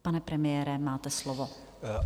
Pane premiére, máte slovo.